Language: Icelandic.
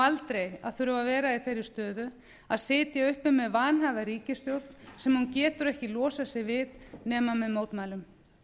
aldrei að þurfa að vera í þeirri stöðu að sitja uppi með vanhæfa ríkisstjórn sem hún getur ekki losað sig við nema með mótmælum